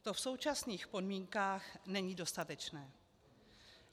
To v současných podmínkách není dostatečné.